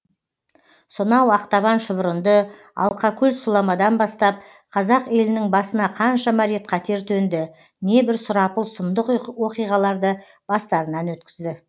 сонау ақтабан шұбырынды алқакөл сұламадан бастап қазақ елінің басына қаншама рет қатер төнді небір сұрапыл сұмдық оқиғаларды бастарынан өткізді